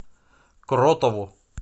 кротову